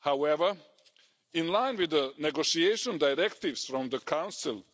However, in line with the negotiation directives from the Council,